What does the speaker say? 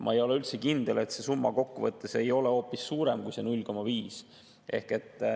Ma ei ole üldse kindel, et see summa kokkuvõttes ei ole hoopis suurem kui see 0,5.